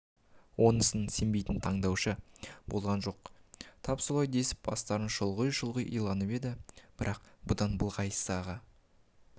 онысына сенбейтін тыңдаушы болған жоқ тап солай десіп бастарын шұлғи-шұлғи иланып еді бірақ бұдан былайғысы аға